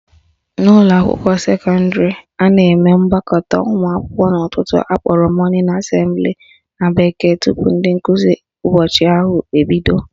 N'ụlọakwụkwọ sekọndịrị, a na-eme mgbakọnata ụmụakwụkwọ n'ụtụtụ akpọrọ morning assembly na bekee tupu nkụzi ụbọchị ahụ ebido